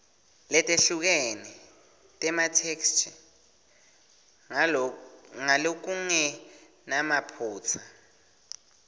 letehlukene tematheksthi ngalokungenamaphutsa